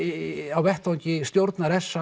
á vettvangi stjórnar s